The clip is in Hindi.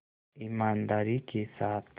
ईमानदारी के साथ